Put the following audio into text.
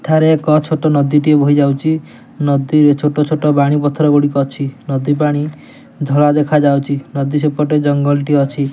ଥରେ ଏକ ଛୋଟ ନଦୀ ଟିଏ ଵୋହି ଯାଉଛି ନଦୀ ଛୋଟ ଛୋଟ ବାଣି ପଥର ଗୁଡ଼ିକ ଅଛି ନଦୀ ପାଣି ଧଳା ଦେଖା ଯାଉଛି ନଦୀ ସେପଟେ ଜଙ୍ଗଲ ଟିଏ ଅଛି।